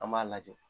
An b'a lajɛ